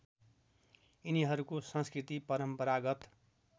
यिनीहरूको संस्कृति परम्पारागत